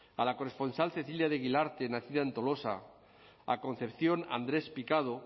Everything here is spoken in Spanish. a la corresponsal cecilia de guilarte nacida en tolosa a concepción andrés picado